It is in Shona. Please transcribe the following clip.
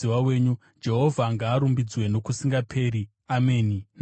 Jehovha ngaarumbidzwe nokusingaperi! Ameni naAmeni.